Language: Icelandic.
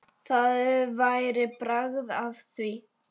Það væri bragð af því!